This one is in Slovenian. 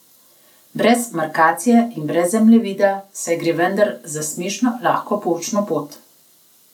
Brez markacije in brez zemljevida, saj gre vendar za smešno lahko poučno pot!